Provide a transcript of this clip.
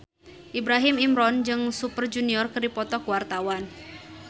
Ibrahim Imran jeung Super Junior keur dipoto ku wartawan